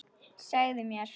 Segðu mér.